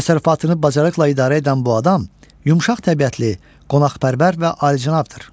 Təsərrüfatını bacarıqla idarə edən bu adam yumşaq təbiətli, qonaqpərvər və alicənabdır.